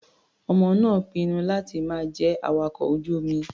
Ọmọ náà pinnu láti má jẹ́ awakọ̀ ojú-omi.